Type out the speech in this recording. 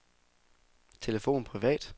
telefon privat